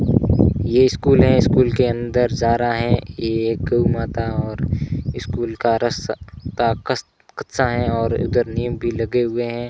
ये स्कूल है स्कूल के अंदर जा रहा हैं एक माता और स्कूल का रास्ता कच्चा हैं और उधर नीम भी लगे हुए हैं।